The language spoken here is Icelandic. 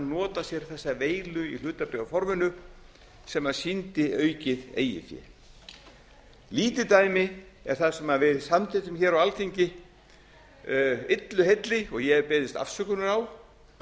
nota sér þessa veilu í hlutabréfaforminu sem sýndi aukið eigið fé lítið dæmi er það sem við samþykktum hér á alþingi illu heilli og ég hef beðist afsökunar á